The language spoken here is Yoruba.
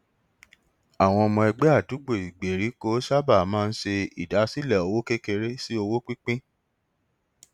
àwọn ọmọ ẹgbẹ àdúgbò ìgbèèríkò sábà máa ń ṣe ìdásílẹ owó kékeré sí owó pínpín